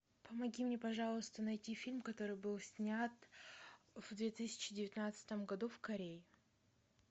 помоги мне пожалуйста найти фильм который был снят в две тысячи девятнадцатом году в корее